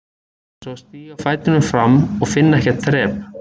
Þetta var eins og að stíga fætinum fram og finna ekkert þrep.